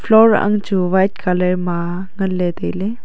floor ang chu white colour ma ngan ley tai ley.